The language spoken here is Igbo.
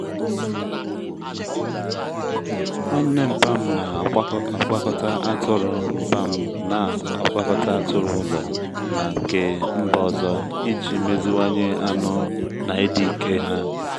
nwanne nmpa'm na-agwakọta atụrụ nmpa'm na-agwakọta atụrụ ụlọ na nke mba ọzọ iji meziwanye anụ na ịdị ike ha.